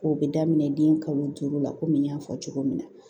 O bɛ daminɛ den kalo duuru la kɔmi n y'a fɔ cogo min na